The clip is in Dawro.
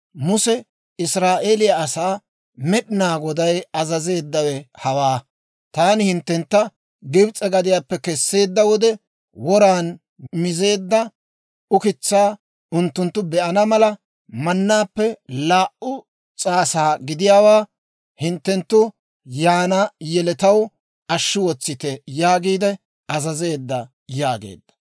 Muse Israa'eeliyaa asaa, «Med'inaa Goday azazeeddawe hawaa; ‹Taani hinttentta Gibs'e gadiyaappe kesseedda wode, woran mizeedda ukitsaa unttunttu be'ana mala, mannaappe laa"u s'aasa gidiyaawaa hinttenttu yaana yeletaw ashshi wotsite› yaagiide azazeedda» yaageedda.